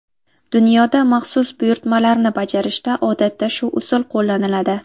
Dunyoda maxsus buyurtmalarni bajarishda odatda shu usul qo‘llaniladi.